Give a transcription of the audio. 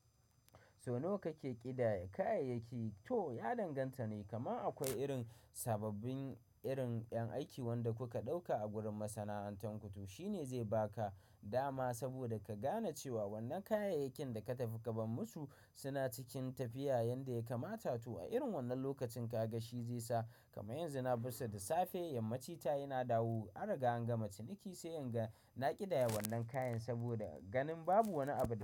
Sau nawa kake kidaya kayayyaki? To ya danganta ne. Kamar akwai irin sababbin irin ƴan aiki wanda kuka ɗauka a gurin masana'antar ku to. Shi ne zai baka dama saboda ka gane cewa wannan kayayakin da ka tafi ka ban musu suna cikin tafiya yanda ya kamata. To a irin wannan lokacin ka ga shi zai sa. Kamar yanzu na bisa da safe yammaci ta yana dawowa, an riga an gama ciniki sai in ga na ƙidaya wannan kayan saboda ganin babu wani abu da.